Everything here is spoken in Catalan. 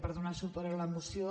per donar suport a la moció